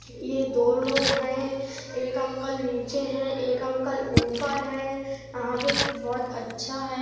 ये दो लोग है। एक अंकल नीचे है। एक अंकल ऊपर है। यहाँ पे बहुत अच्छा है।